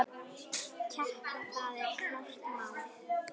Keppa, það er klárt mál.